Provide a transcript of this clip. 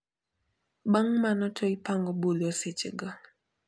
Bang` mano to ipango budho sechego.